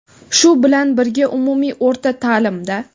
Shu bilan birga umumiy o‘rta taʼlimda:.